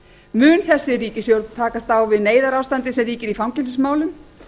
mun þessi ríkisstjórn takast á við neyðarástandið sem ríkir í fangelsismálum